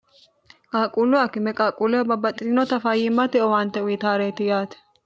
qaaqquullu akkime qaaqquulloho babbaxxi'rinota fayyimmatte owaante uyitaareeti yaate